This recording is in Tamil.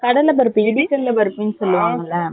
கடலை பருப்பு இதே கடலை பருப்பு சொல்லுவாங்க இல்ல .